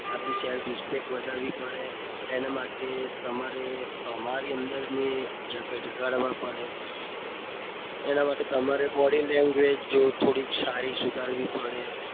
આપણી self respect વધારવી પડે. એનાં માટે ની જગાડવા પડે એનાં માટે તમારે તમારી થોડી body language થોડી સારી સુધારવી પડે.